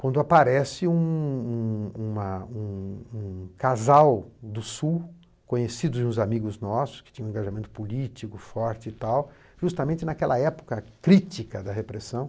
Quando aparece um um uma um um casal do Sul, conhecidos de uns amigos nossos, que tinha um engajamento político forte e tal, justamente naquela época crítica da repressão,